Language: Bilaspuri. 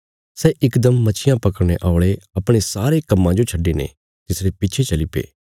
सै इकदम मच्छियां पकड़ने औल़े अपणे सारे कम्मा जो छड्डिने तिसरे पिच्छे चलीपे